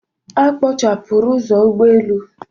A kpochapụrụ ụzọ ụgbọelu.